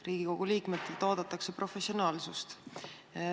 Riigikogu liikmetelt oodatakse professionaalsust.